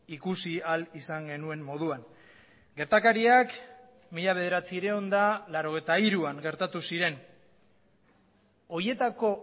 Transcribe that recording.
ikusi ahal izan genuen moduan gertakariak mila bederatziehun eta laurogeita hiruan gertatu ziren horietako